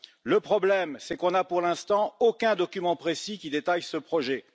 Le problème, c'est qu'on n'a pour l'instant aucun document précis qui détaille ce projet.